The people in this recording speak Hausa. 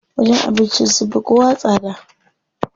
Wajen abincin sun fi kowa tsada.